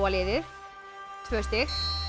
liðið tvö stig